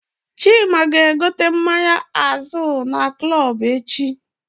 Chima ga egote mmanya Azul na Club echi